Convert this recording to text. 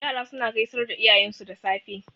Yara suna gaisar da iyayensu da safe.